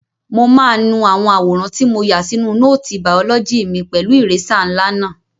Mo máa nu àwòrán tí mo yà sínú nóòtì bàọ́lọ́jì mi pẹ̀lú ìrésà ńlá náà.